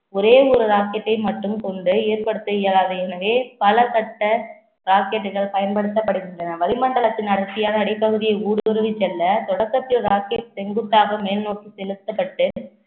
ஒரே ஒரு rocket டை மட்டும் கொண்டு ஏற்படுத்த இயலாது எனவே, பலபட்ட rocket கள் பயன்படுத்தப்படுகின்றன வளிமண்டலத்தின் அடர்த்தியான அடிப்பகுதியில் ஊடுருவி செல்ல தொடக்கத்தில் rocket செங்குத்தாக மேல் நோக்கி செலுத்தப்பட்டு